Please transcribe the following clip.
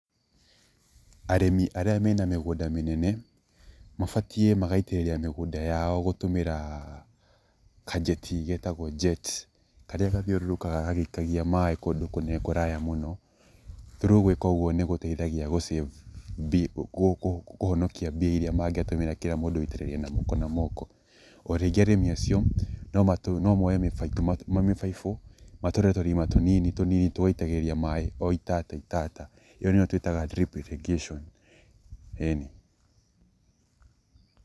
Arĩmi arĩa mena mĩgũnda mĩnene, mabatie magaitĩrĩria mĩgũnda yao gũtũmĩra kajeti getagwo jets karĩa gathiũrũrũkaga gagĩikagia maĩ kũndũ kũrĩa mũno. Through gwĩka ũguo nĩ gũteithagia gũ save kũhonokia mbia iria mangĩatũmĩra kĩrĩa mũndũ aitĩrĩria na guoko na moko,o rĩngĩ arĩmi acio no moe mĩbaibũ matũre tũrima tũnini tũgaitagĩrĩria tũmaĩ o itata itata.ĩo nĩyo twĩtaga drip irrigation. ĩni.